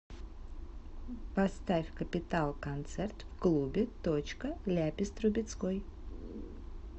поставь капитал концерт в клубе точка ляпис трубецкой